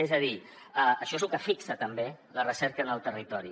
és a dir això és el que fixa també la recerca en el territori